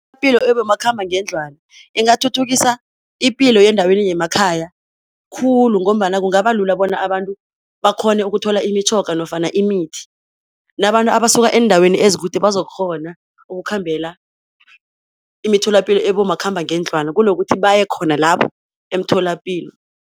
ebomakhambangendlwana ingathuthukisa ipilo yendaweni yemakhaya khulu, ngombana kungaba lula bona abantu bakghone ukuthola imitjhoga nofana imithi, nabantu abasuka eendaweni ezikude bazokukghona ukukhambela imitholapilo ebomakhambangendlwana kunokuthi baye khona lapho emtholapilo.